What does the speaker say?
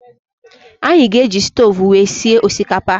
Anyị ga-eji stoovú wee sie osikapa.